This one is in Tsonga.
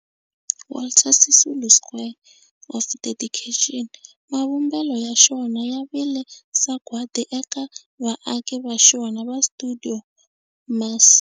Walter Sisulu Square of Dedication, mavumbelo ya xona ya vile sagwadi eka vaaki va xona va stuidio MAS.